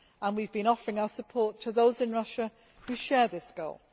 We have been offering our support to those in Russia who share this goal.